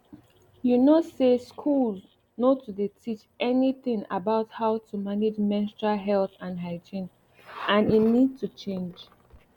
you know say schools nor too dey teach anything about how to manage menstrual health and hygiene and e need to change